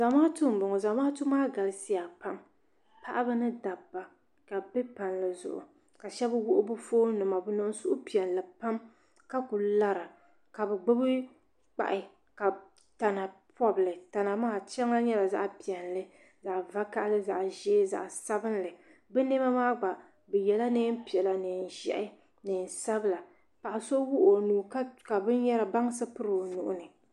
Zamaatu m-bɔŋɔ Zamaatu maa galisiya pam paɣiba ni dabba ka bɛ be palli zuɣu ka shɛba wuɣi bɛ foonima bɛ niŋ suhupiɛlli pam ka kuli lara ka bɛ gbubi kpahi ka tana pɔbi li tana maa shɛŋa nyɛla zaɣ'piɛlli zaɣ'vakahili zaɣ'ʒee zaɣ'sabinli bɛ nɛma maa gba bɛ yela neen'piɛla neen'ʒɛhi neen'sabila paɣa so wuɣi o nuu ka bansi piri o nuu ni.